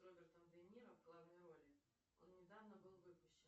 с робертом де ниро в главной роли он недавно был выпущен